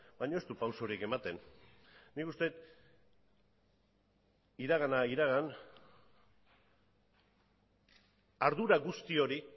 baina ez du pausurik ematen nik uste dut iragana iragan ardura guzti hori